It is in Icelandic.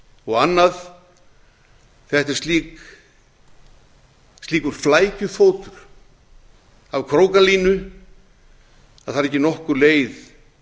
og annað þetta er slíkur flækjufótur af krókalínu að það er ekki nokkur leið